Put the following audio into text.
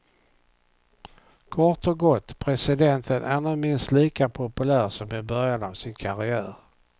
Kort och gott, presidenten är nu minst lika populär som i början av sin karriär.